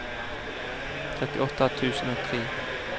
trettiåtte tusen og tre